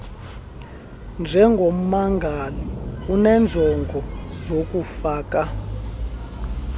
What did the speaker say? njengommangali unenjongo zokufaka